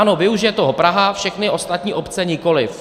Ano, využije toho Praha, všechny ostatní obce nikoliv.